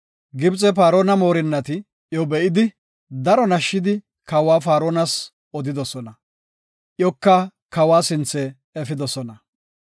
Gibxe Paarona moorinnati iyo be7idi daro nashshidi kawa Faaronas odidosona, iyoka kawa sinthe efidosona.